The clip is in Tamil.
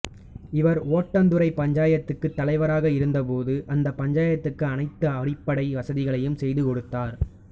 இவர் ஒடந்துறை பஞ்சாயத்துக்கு தலைவராக இருந்த போது அந்த பஞ்சாயத்துக்கு அனைத்து அடிப்படை வசதிகளையும் செய்து கொடுத்தார்